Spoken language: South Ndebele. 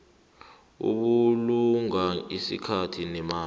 ukubulunga isikhathi nemali